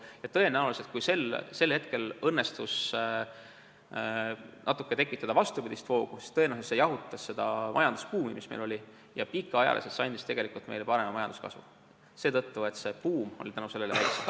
Ja tõenäoliselt oli nii, et kui sel hetkel õnnestus tekitada natukene vastupidist voogu, siis see jahutas majandusbuumi, mis meil oli, ja andis pikaajaliselt parema majanduskasvu, sest buum oli tänu sellele väiksem.